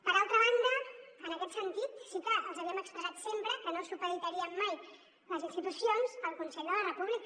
per altra banda en aquest sentit sí que els havíem expressat sempre que no supeditaríem mai les institucions al consell de la república